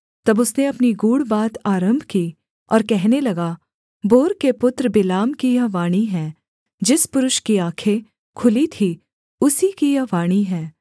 तब उसने अपनी गूढ़ बात आरम्भ की और कहने लगा बोर के पुत्र बिलाम की यह वाणी है जिस पुरुष की आँखें खुली थीं उसी की यह वाणी है